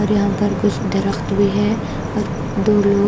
और यहां पर कुछ दरख्त भी है और दो लोग --